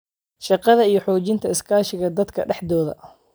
shaqada iyo xoojinta iskaashiga dadka dhexdooda.